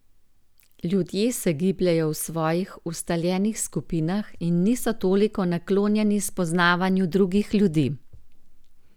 Ljudje se gibljejo v svojih ustaljenih skupinah in niso toliko naklonjeni spoznavanju drugih ljudi.